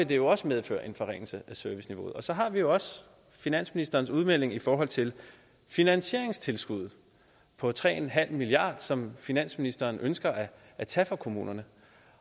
det jo også medføre en forringelse af serviceniveauet og så har vi også finansministerens udmelding i forhold til finansieringstilskuddet på tre milliard som finansministeren ønsker at tage fra kommunerne